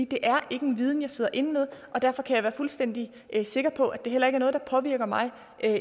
det er ikke en viden jeg sidder inde med derfor kan jeg være fuldstændig sikker på at det heller ikke noget der påvirker mig